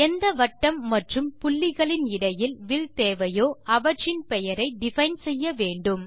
எந்த வட்டம் மற்றும் புள்ளிகளின் இடையில் வில் தேவையோ அவற்றின் பெயரை டிஃபைன் செய்யவேண்டும்